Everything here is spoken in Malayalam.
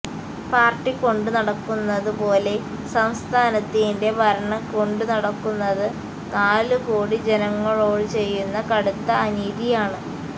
പാര്ട്ടി കൊണ്ടു നടക്കുന്നതു പോലെ സംസ്ഥാനത്തിന്റെ ഭരണം കൊണ്ടു നടക്കുന്നത് നാലു കോടി ജനങ്ങളോട് ചെയ്യുന്ന കടുത്ത അനീതിയാണ്